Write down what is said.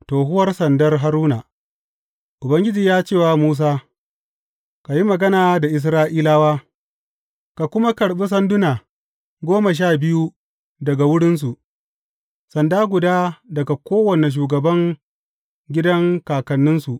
Tohuwar sandar Haruna Ubangiji ya ce wa Musa, Ka yi magana da Isra’ilawa, ka kuma karɓi sanduna goma sha biyu daga wurinsu, sanda guda daga kowane shugaban gidan kakanninsu.